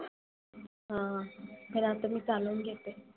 हा पण आता मी चालवून घेते.